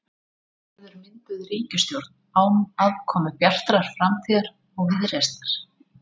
Verður mynduð ríkisstjórn án aðkomu Bjartrar framtíðar og Viðreisnar?